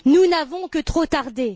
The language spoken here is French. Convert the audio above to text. Nous n'avons que trop tardé.